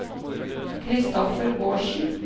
Kristoffer Bårdsen